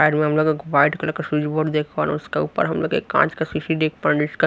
side में हम लोग एक वाइट कलर का स्विच बोर्ड देख पा रहे हैं उसके ऊपर हम लोग एक कांच का सीसी देख पा रहे हैं जिसका --